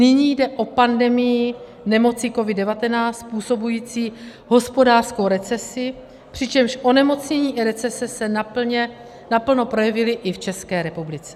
Nyní jde o pandemii nemoci COVID-19 způsobující hospodářskou recesi, přičemž onemocnění i recese se naplno projevily i v České republice.